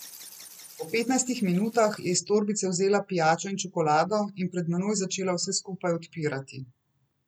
Po petnajstih minutah je iz torbice vzela pijačo in čokolado in pred menoj začela vse skupaj odpirati.